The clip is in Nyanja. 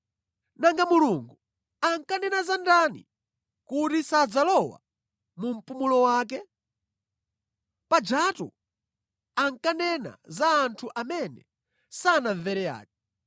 Nanga Mulungu ankanena za ndani kuti sadzalowa mu mpumulo wake? Pajatu ankanena za anthu amene sanamvere aja.